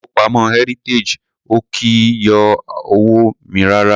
Ilé ìfowópamọ́ Heritage ò kì í yọ owó mi rárá.